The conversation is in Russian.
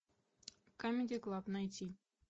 камеди клаб найти